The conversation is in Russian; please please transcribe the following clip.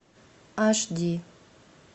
аш ди